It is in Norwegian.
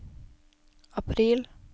april